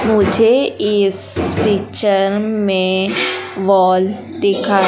मुझे इस पिक्चर में वॉल दिखाई--